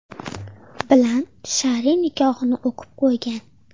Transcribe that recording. bilan shar’iy nikohini o‘qib qo‘ygan.